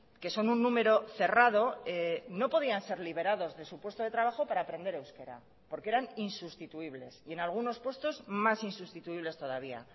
que son un número cerrado no podían ser liberados de su puesto de trabajo para aprender euskera porque eran insustituibles y en algunos puestos más insustituibles todavía